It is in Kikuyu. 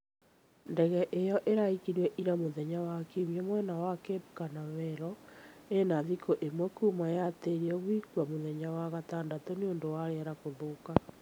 Ndege ĩyo ĩraikirio ira mũthenya wa kiumia mwena wa Cape Canaveral ina thikũ imwe kuma yatĩrio gũikio mũthenya wa gatandatũ nĩũndũ wa rĩera gũthũka.